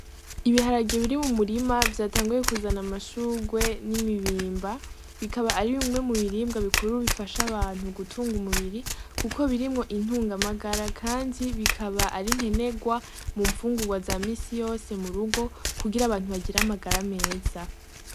Ibiharage biri mu murima vyatanguye kuzana amashurwe n'imibimba, bikaba ari bimwe mu biribwa bikuru bifasha abantu gutunga umubiri kuko birimwo intungamagara, kandi bikaba ari nkenegwa mu mfungurwa za misi yose mu rugo kugira abantu bagire amagara meza.